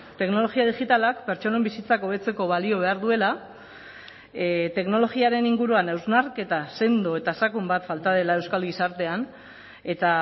teknologia digitalak pertsonen bizitzak hobetzeko balio behar duela teknologiaren inguruan hausnarketa sendo eta sakon bat falta dela euskal gizartean eta